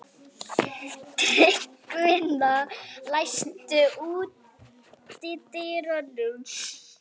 Tryggvína, læstu útidyrunum.